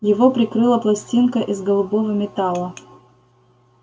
его прикрыла пластинка из голубого металла